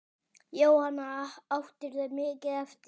Jóhanna: Áttirðu mikið eftir?